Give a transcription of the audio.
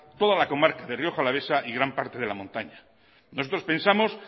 toda la comarca de rioja alavesa y gran parte de la montaña nosotros pensamos